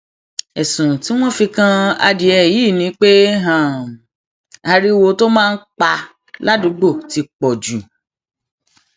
ẹsùn tí wọn fi kan adìẹ yìí ni pé ariwo tó máa ń pa ládùúgbò ti pọ jù